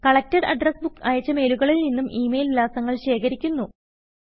collected address book അയച്ച മെയിലുകളിൽ നിന്നും ഇ മെയിൽ വിലാസങ്ങൾ ശേഖരിക്കുന്നു